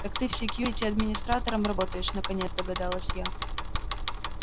так ты в секьюрити администратором работаешь наконец догадалась я